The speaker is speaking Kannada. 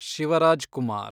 ಶಿವರಾಜ್‌ ಕುಮಾರ್